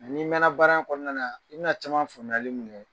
Mɛ n'i mɛnna baara kɔnɔna na , i bina caman faamuyali mun kɛ